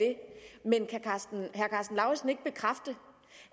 men kan herre karsten lauritzen ikke bekræfte